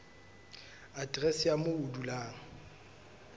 aterese ya moo o dulang